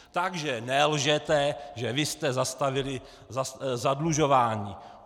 Takže nelžete, že vy jste zastavili zadlužování!